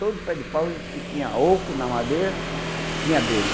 Todo pé de pau que tinha oco na madeira, tinha abelha.